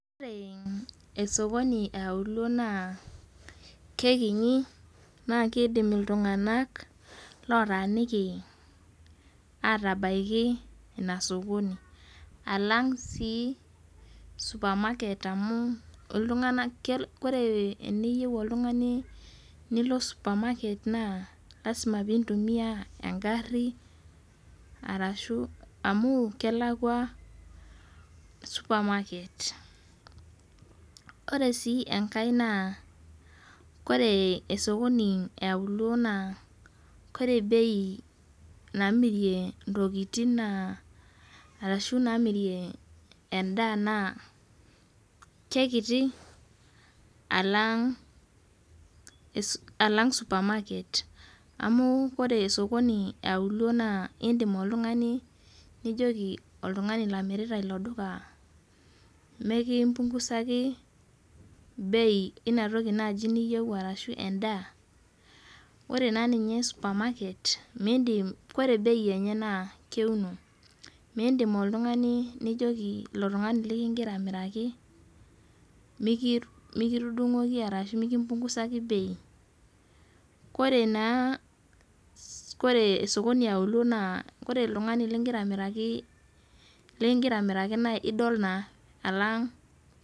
Ore esokoni eaulo naa kekinyi naa keidim iltunganak lootaaniki aatabaki inasakoni alang sii supamaket amuu oltunganak koree teniyeu oltungani nilo supamaket naa lasima piintumiya engarri arashu amuu kelalakwa supamaket. Ore sii enkae naa koree esokoni eaulo naa kore bei naamirie intokitin naa arashu naamirie endaa naa kekiti alang supamaket, amu kore supamaket eaulo naa indim oltungani nijoki oltungani lomirita ilo duka mikimpungusaki ibei einatoki niyeu arashu endaa. Ore naa ninye supamaket, miindim kore ibei enye naa keuno. Miindim oltungani nijoki iltungani likigira amiraki mikitudung'oki arashu kimpungusaku ibei. Kore naa ,kore sokoni eaulo naa kore iltungani likigira amiraki likigira amiraki naa idol saa alang.